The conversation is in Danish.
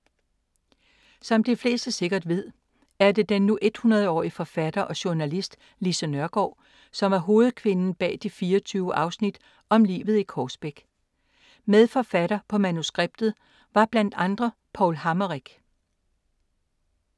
Som de fleste sikkert ved, er det den nu 100-årige forfatter og journalist, Lise Nørgaard, der er hovedkvinden bag de 24 afsnit om livet i Korsbæk. Medforfatter på manuskriptet var blandt andre Paul Hammerich.